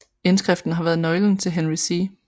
Indskriften har været nøgle til Henry C